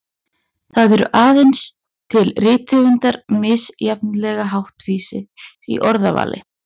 Það eru aðeins til rithöfundar misjafnlega háttvísir í orðavali.